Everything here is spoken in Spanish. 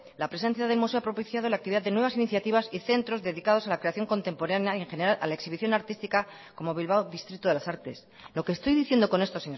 la presencia del museo ha propiciado la actividad de nuevas iniciativas y centros dedicados a la creación contemporánea y en general a la exhibición artística como bilbao distrito de las artes lo que estoy diciendo con esto